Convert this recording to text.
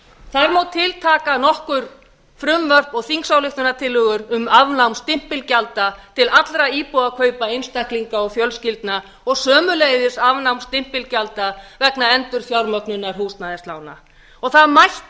þar má tiltaka nokkur frumvörp og þingsályktunartillögur um afnám stimpilgjalda til allra íbúðakaupa einstaklinga og fjölskyldna og sömuleiðis afnám stimpilgjalda vegna endurfjármögnunar húsnæðislána það mætti